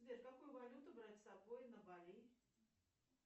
сбер какую валюту брать с собой на бали